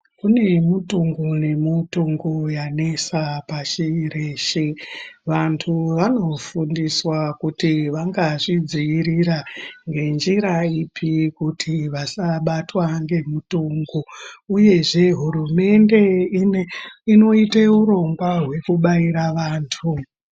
Kune mutungu nemutungu yanesa pashi reshe. Vantu vanofundiswa kuti vangazvidziirira ngenjira ipi kuti vasabatwa ngemutungu, uyezve hurumende ine inoite urongwa hwekubaira vantu.